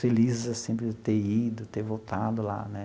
Felizes, assim, por eu ter ido, ter voltado lá, né?